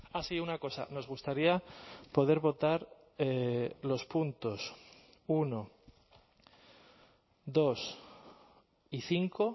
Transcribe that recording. ah sí una cosa nos gustaría poder votar los puntos uno dos y cinco